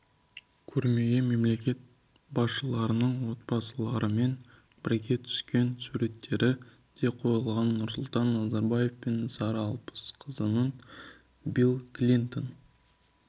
көрмеге мемлекет басшыларының отбасыларымен бірге түскен суреттері де қойылған нұрсұлтан назарбаев пен сара алпысқызының билл клинтон